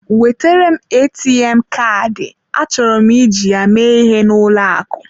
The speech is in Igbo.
Wetere m ATM Kaadị, achọrọ m iji ya mee ihe n'ụlọ akụ.